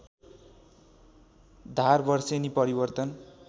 धार वर्षेनी परिवर्तन